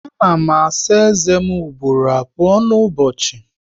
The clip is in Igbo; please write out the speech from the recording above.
A na m asa eze m ugboro abụọ n'ụbọchị